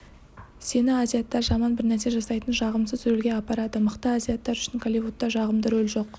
сені азиаттар жаман бірнәрсе жасайтын жағымсыз рөлге алады мықты азиаттар үшін голливудта жағымды рөл жоқ